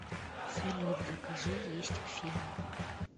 салют закажи есть к фильму